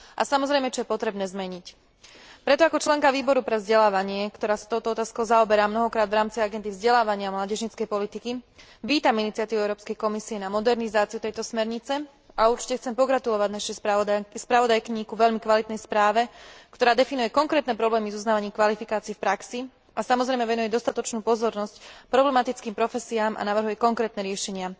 A to je, samozrejme, potrebné zmeniť. Preto ako členka Výboru pre vzdelávanie, ktorá sa touto otázkou zaoberá mnohokrát v rámci agendy vzdelávania mládežníckej politiky, vítam iniciatívu Európskej komisie na modernizáciu tejto smernice a určite chcem pogratulovať našej spravodajkyni ku veľmi kvalitnej správe, ktorá definuje konkrétne problémy s uznávaním kvalifikácií v praxi a, samozrejme, venuje dostatočnú pozornosť problematickým profesiám a navrhuje konkrétne riešenia.